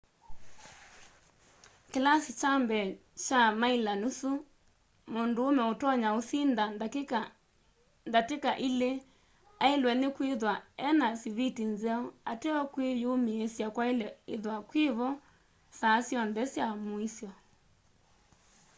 kilasi kya mbee kya miler nusu mundume utonya usinda ndatika ili ailwe ni kwithwa e na siviti nzeo ateo kwi yumiisya kwaile ithwa kwivo saa syonthe sya muisyo